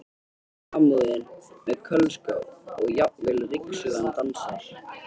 Samúðin með Kölska og jafnvel ryksugan dansar.